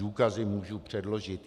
Důkazy můžu předložit.